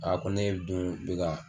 A ko ne dun bɛ ka.